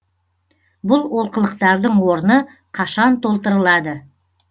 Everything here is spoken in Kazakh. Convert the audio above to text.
бұл олқылықтардың орны қашан толтырылады